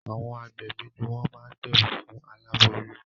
Àwọn agbẹ̀bí ní wọ́n máá gbẹ̀bí fún aláboyún.